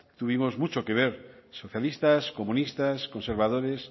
tuvimos mucho que ver socialistas comunistas conservadores